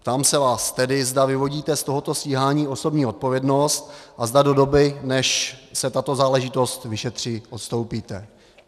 Ptám se vás tedy, zda vyvodíte z tohoto stíhání osobní odpovědnost a zda do doby, než se tato záležitost vyšetří, odstoupíte.